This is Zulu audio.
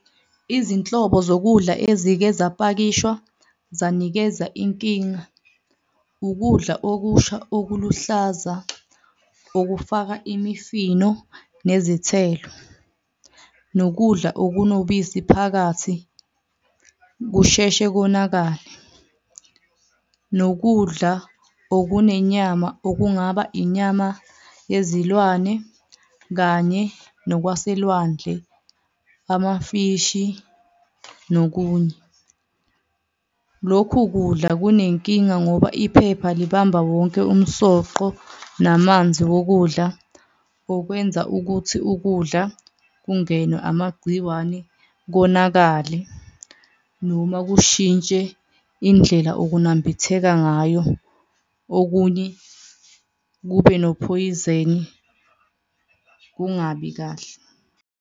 Izinhlobo zokudla ezike zapakishwa zanikeza inkinga. Ukudla okusha okuluhlaza okufaka imifino nezithelo, nokudla okunobisi phakathi kusheshe konakale, nokudla okunenyama okungaba inyama yezilwane kanye nokwaselwandle, amafishi nokunye. Lokhu kudla kunenkinga ngoba iphepha libamba wonke umsoqo namanzi wokudla okwenza ukuthi ukudla kungenwe amagciwane konakale noma kushintshe indlela okunambitheka ngayo okunye kube nophoyizeni, kungabi kahle.